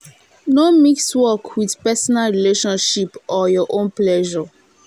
no mix work with personal relationship or your own pleasure